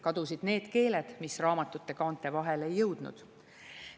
Kadusid need keeled, mis raamatute kaante vahele ei jõudnud.